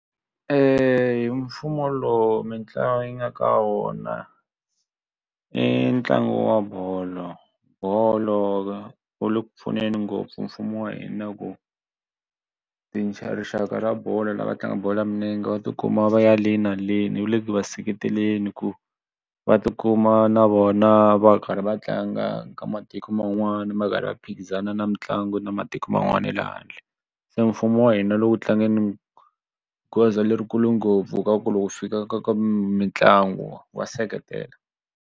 Mfumo lowu mitlangu yi nga ka wona i ntlangu wa bolo bolo wu le ku pfuneni ngopfu mfumo wa hina ku rixaka ra bolo lava tlangaka bolo ya milenge va tikuma va ya le na le wu le ku va seketeleni ku va ti kuma na vona va karhi va tlanga ka matiko man'wana va karhi va phikizana na mitlangu na matiko man'wana ya le handle se mfumo wa hina lowu tlangeni goza leri kule ngopfu ka ku loko ku fika ka ka mitlangu wa seketela.